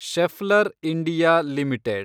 Scheffler India limited